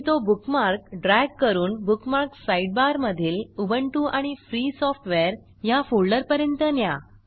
आणि तो bookmark drag करून बुकमार्क्स साइडबार मधील उबुंटू आणि फ्री सॉफ्टवेअर ह्या फोल्डरपर्यंत न्या